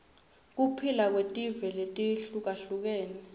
kuphila kwetive letihlukahlukene